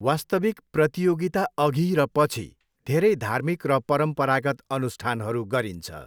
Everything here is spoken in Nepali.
वास्तविक प्रतियोगिता अघि र पछि धेरै धार्मिक र परम्परागत अनुष्ठानहरू गरिन्छ।